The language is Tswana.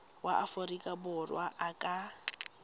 wa aforika borwa a ka